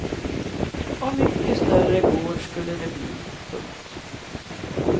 Och mycket större gård skulle det bli. punkt